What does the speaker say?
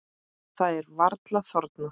Það er varla þornað.